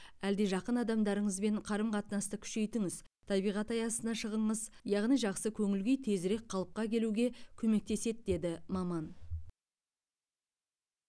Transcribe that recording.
әлде жақын адамдарыңызбен қарым қатынасты күшейтіңіз табиғат аясына шығыңыз яғни жақсы көңіл күй тезірек қалыпқа келуге көмектеседі деді маман